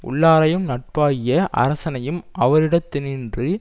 உள்ளாரையும் நட்பாகிய அரசரையும் அவரிடத் தினின்று